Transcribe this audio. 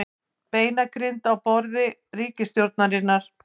Beinagrind á borði ríkisstjórnar